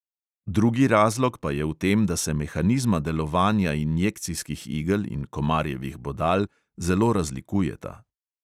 Drugi razlog pa je v tem, da se mehanizma delovanja injekcijskih igel in komarjevih bodal zelo razlikujeta.